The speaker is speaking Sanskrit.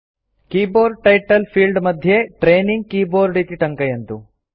कीबोर्ड टाइटल फील्ड मध्ये ट्रेनिंग कीबोर्ड इति टङ्कयन्तु